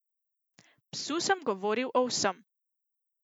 Psu sem govoril o vsem.